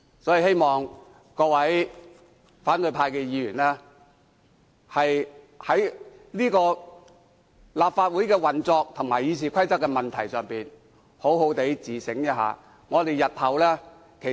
我希望各位反對派的議員能在立法會運作和《議事規則》的問題上好好自省。